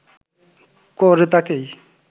করে তাঁকেই